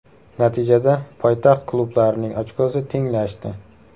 Natijada poytaxt klublarining ochkosi tenglashdi.